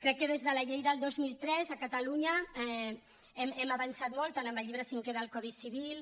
crec que des de la llei del dos mil tres a catalunya hem avançat molt tant amb el llibre cinquè del codi civil